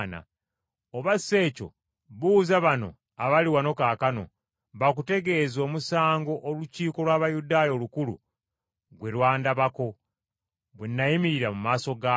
Oba si ekyo buuza bano abali wano kaakano, bakutegeeze omusango Olukiiko lw’Abayudaaya Olukulu gwe lwandabako, bwe nayimirira mu maaso gaalwo.